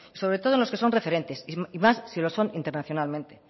sobre todo en los que son referentes y más si lo son internacionalmente